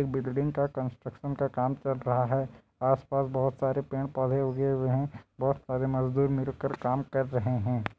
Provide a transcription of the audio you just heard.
एक बिल्डिंग का कन्स्ट्रक्शन का काम चल रहा है आस पास बहोत सारे पेड़ पौधे उगे हुए है बहुत सारे मजदूर मिलकर काम कर रहै हैं।